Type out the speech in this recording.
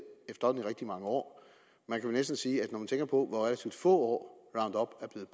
efterhånden rigtig mange år man kan næsten sige at når man tænker på hvor relativt få